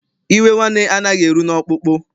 Iwe nwanne anaghị eru n'ọkpụkpụ.